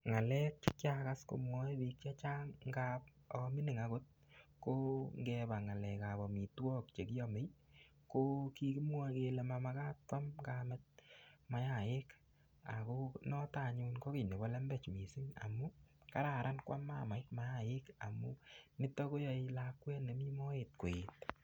Ng'alek chekiakas komwoe biik che chang ngap amining akot ko ng'ele ng'alek ap omitwok chekiamei ko kimwoe kele makararan keam mayaii ako noto anyun ko kiy nebo lembech mising amun kararan koam mamait mayaik nito koyoe lakwet nemii moet koet.